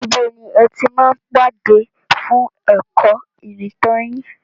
Ibo ni ẹ ti máa ń pàdé fún ẹ̀kọ́ ìrìntàn yín?